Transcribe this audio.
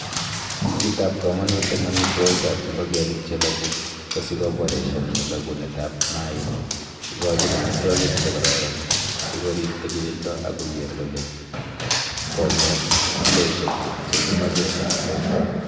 kitab komonut en amitwogik ab ingogenik che loogu kosikoboreshan loogunet ab mainik, ikochin amitwogik che kororon, sikorib tilindo ak kogeer kole konget kiloisiek che kemoche en borto.